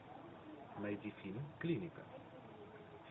найди фильм клиника